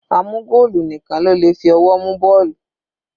A mú goolu nìkan ló le fi ọwọ́ mu bọ́ọ̀lù.